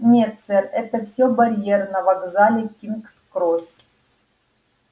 нет сэр это все барьер на вокзале кингс-кросс